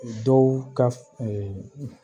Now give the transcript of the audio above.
Dɔw ka